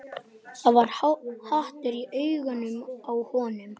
Það var hatur í augunum á honum.